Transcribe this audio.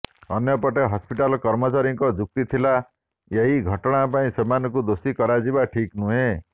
ଅନ୍ୟପଟେ ହସ୍ପିଟାଲ କର୍ମଚାରୀଙ୍କ ଯୁକ୍ତି ଥିଲା ଏହି ଘଟଣା ପାଇଁ ସେମାନଙ୍କୁ ଦୋଷୀ କରାଯିବା ଠିକ୍ ନୁହେଁ